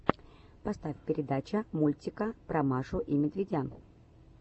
поставь передача мультика про машу и медведя